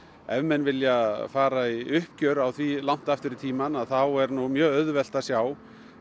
ef menn vilja fara í uppgjör á því langt aftur í tímann þá er nú mjög auðvelt að sjá